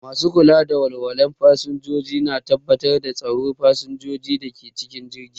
Masu kula da walwalar fasinjoji na tabbatar da tsaron fasinjojin da ke cikin jirgi.